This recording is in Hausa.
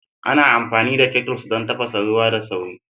Ana amfani da kettles don tafasa ruwa da sauri